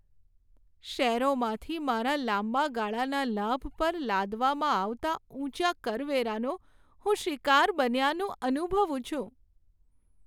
શેરોમાંથી મારા લાંબા ગાળાના લાભ પર લાદવામાં આવતા ઊંચા કરવેરાનો હું શિકાર બન્યનું અનુભવું છું.